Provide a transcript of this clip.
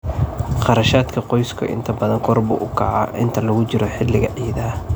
Kharashaadka qoysku inta badan kor buu u kacaa inta lagu jiro xilliga ciidaha.